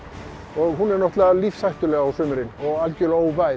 og hún er náttúrulega lífshættuleg á sumrin og algjörlega